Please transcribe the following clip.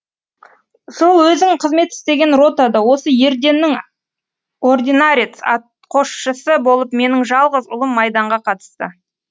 сол өзің қызмет істеген ротада осы ерденнің ординарец атқосшысы болып менің жалғыз ұлым майданға қатысты